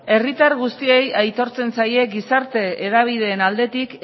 herritar guztiei aitortzen zaie gizarte hedabideen aldetik